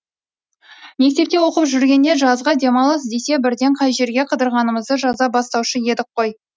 мектепте оқып жүргенде жазғы демалыс десе бірден қай жерге қыдырғанымызды жаза бастаушы едік қой